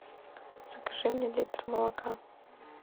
закажи мне литр молока